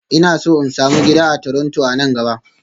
Ina so in sami gida a Toronto a nan gaba